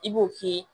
I b'o k'i ye